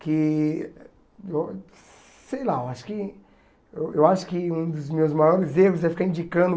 Que, eu sei lá, eu acho que eu acho que um dos meus maiores erros é ficar indicando